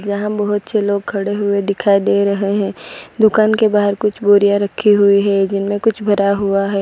यहां बहुत से लोग खड़े हुए दिखाई दे रहे हैं दुकान के बाहर कुछ बोरिया रखे हुए है जिनमें कुछ भरा हुआ है।